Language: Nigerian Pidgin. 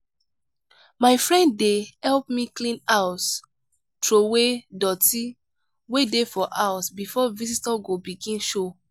my friend dey help me clean house troway doty wey dey for house before visitor go begin show.